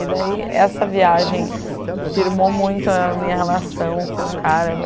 E, daí, essa viagem firmou muito a minha relação com o cara.